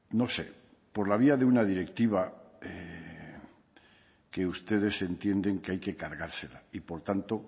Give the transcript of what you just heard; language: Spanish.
no sé por la vía de una directiva que ustedes entienden que hay que cargársela y por tanto